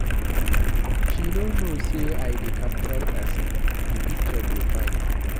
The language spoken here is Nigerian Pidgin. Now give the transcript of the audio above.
She no know say I dey capture person, the picture go fine